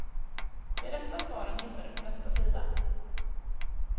De rätta svaren hittar du på nästa sida.